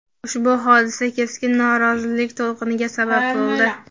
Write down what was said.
Ushbu hodisa keskin norozilik to‘lqiniga sabab bo‘ldi.